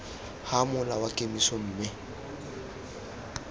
ga mola wa kemiso mme